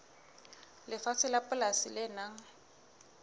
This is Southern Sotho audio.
lefatshe la polasi le nang